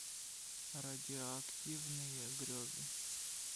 радиоактивные грезы